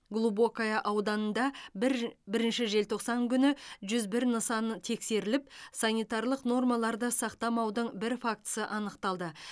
глубокое ауданында бір бірінші желтоқсан күні жүз бір нысан тексеріліп санитарлық нормаларды сақтамаудың бір фактісі анықталды